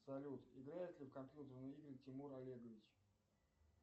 салют играет ли в компьютерные игры тимур олегович